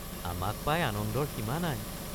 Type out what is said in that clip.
আমাক পাই আনন্দৰ সীমা নাই।